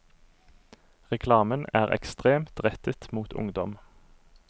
Reklamen er ekstremt rettet mot ungdom.